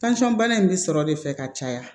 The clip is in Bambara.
bana in bɛ sɔrɔ de fɛ ka caya